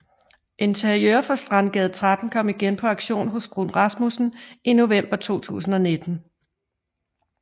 Interiør fra Strandgade 30 kom igen på auktion hos Bruun Rasmussen i november 2019